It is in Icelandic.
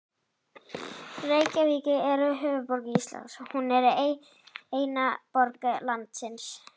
Reykjavík er höfuðborg Íslands. Hún er eina borg landsins.